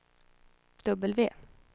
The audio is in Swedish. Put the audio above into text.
W